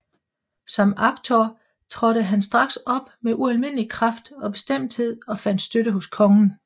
Som aktor trådte han straks op med ualmindelig kraft og bestemthed og fandt støtte hos kongen